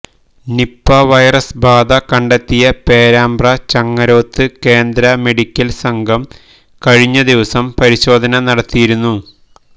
Nipah virus ബാധ കണ്ടെത്തിയ പേരാമ്പ്ര ചങ്ങരോത്ത് കേന്ദ്ര മെഡിക്കൽ സംഘം കഴിഞ്ഞദിവസം പരിശോധന നടത്തിയിരുന്നു